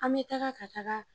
An bi taga ka taga.